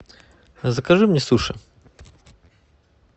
закажи мне суши